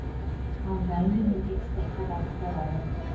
ал дайын өнім экспортқа бағытталады